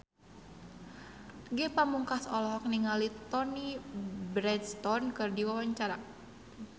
Ge Pamungkas olohok ningali Toni Brexton keur diwawancara